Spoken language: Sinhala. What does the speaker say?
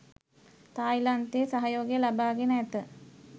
තායිලන්තයේ සහයෝගය ලබා ගෙන ඇත.